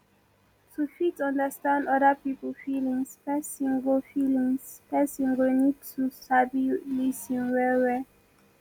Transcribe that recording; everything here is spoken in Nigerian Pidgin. to fit understand oda pipo feelings person go feelings person go need to sabi lis ten well well